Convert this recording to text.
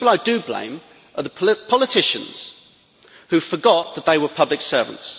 The people I do blame are the politicians who forgot that they were public servants.